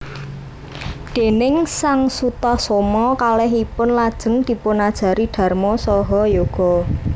Déning sang Sutasoma kakalihipun lajeng dipunajari dharma saha yoga